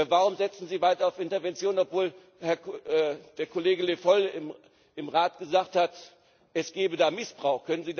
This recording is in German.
Warum setzen Sie weiter auf Interventionen, obwohl der Kollege Le Foll im Rat gesagt hat, es gebe da Missbrauch?